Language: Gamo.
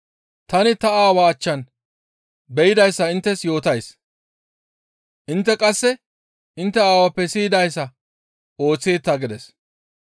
Tani ta Aawaa achchan be7idayssa inttes yootays; intte qasse intte aawappe siyidayssa ooththeeta» gides.